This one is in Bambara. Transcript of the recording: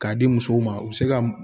K'a di musow ma u bɛ se ka